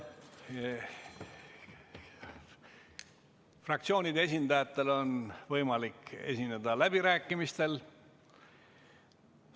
Fraktsioonide esindajatel on võimalik esineda läbirääkimistel.